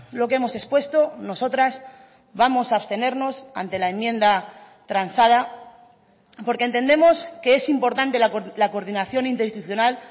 lo que hemos expuesto nosotras vamos a abstenernos ante la enmienda transada porque entendemos que es importante la coordinación interinstitucional